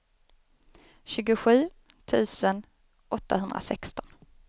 tjugosju tusen åttahundrasexton